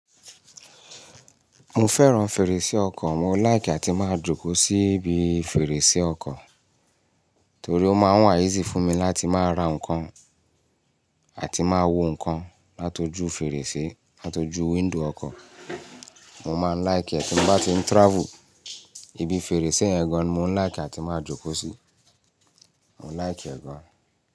Mo fẹ́ràn fèrèsé ọkọ̀, mo like àti máa jókòó sí ibi fèrèsé ọkọ̀ torí ó máa ń wá easy fún mi láti máa ra nǹkan àti máa wo nǹkan látọjú fèrèsé, látọjú window ọkọ̀. Mo máa ń like ẹ́ tí mo bá ti ń travel, ibi fèrèsé ẹ̀ gan-an ni mo n like àti máa jókòó sí, mo like ẹ̀ gan.